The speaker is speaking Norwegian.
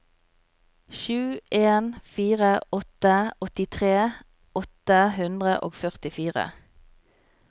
sju en fire åtte åttitre åtte hundre og førtifire